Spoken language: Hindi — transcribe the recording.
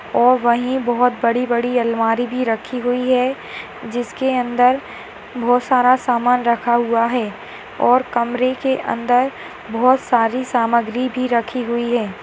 और वही बहुत बड़ी-बड़ी अलमारी भी रही हुई है जिसके अन्दर बहुत सामान रखा हुआ है और कमरे के अन्दर बहुत सारी सामग्री भी रखी हुई है।